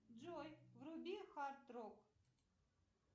джой вруби хард рок